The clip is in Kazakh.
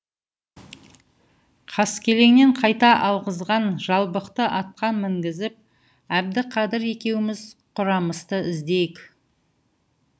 қаскелеңнен қайта алғызған жалбықты атқа мінгізіп әбдіқадыр екеуміз құрамысты іздейік